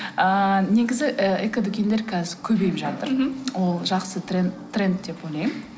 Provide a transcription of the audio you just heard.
ыыы негізі ы экодүкендер қазір көбейіп жатыр мхм ол жақсы тренд деп ойлаймын